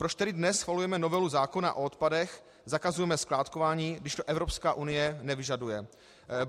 Proč tedy dnes schvalujeme novelu zákona o odpadech, zakazujeme skládkování, když to Evropská unie nevyžaduje?